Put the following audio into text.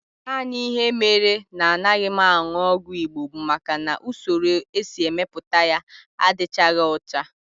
Naanị ihe mere na anaghị m aṅụ ọgwụ Igbo bụ maka na usoro e si mepụta ya adịchaghị ọcha